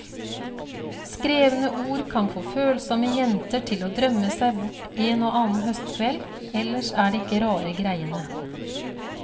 Skrevne ord kan få følsomme jenter til å drømme seg bort en og annen høstkveld, ellers er det ikke rare greiene.